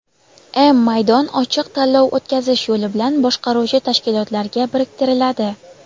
m maydon) ochiq tanlov o‘tkazish yo‘li bilan boshqaruvchi tashkilotlarga biriktiriladi.